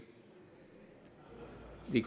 i